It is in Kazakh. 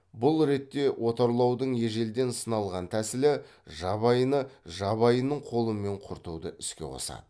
бұл ретте отарлаудың ежелден сыналған тәсілі жабайыны жабайының қолымен құртуды іске қосады